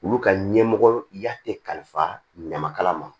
Olu ka ɲɛmɔgɔ ya te kalifa ɲama kala ma